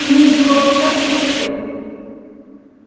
фамилию другого писателя тех лет